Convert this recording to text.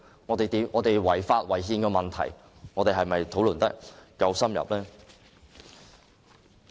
有關違法及違憲問題的討論是否夠深入？